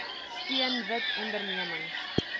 steun wit ondernemings